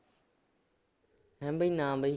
ਹੈਂ ਬਈ ਨਾ ਬਈ।